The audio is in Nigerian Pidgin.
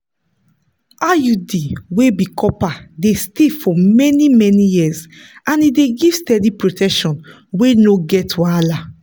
iud wey be copper dey stay for many-many years and e dey give steady protection wey no get wahala.